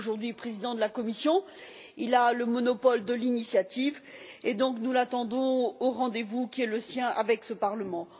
Il est aujourd'hui président de la Commission, il a le monopole de l'initiative et nous l'attendons donc au rendez vous qui est le sien avec ce Parlement.